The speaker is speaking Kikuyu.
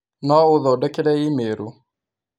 no ũthondekere i-mīrū